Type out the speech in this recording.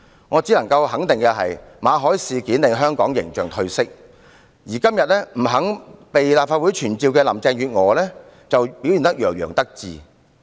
我只能肯定，馬凱事件令香港形象褪色，而今天不肯被立法會傳召的林鄭月娥卻洋洋得意。